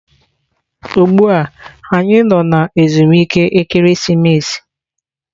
Ugbua anyi no na ezumike ekeresimesi.